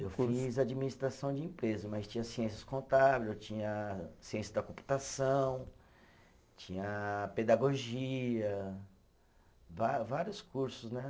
Eu fiz administração de empresa, mas tinha ciências contábil, tinha ciência da computação, tinha pedagogia, va vários cursos, né?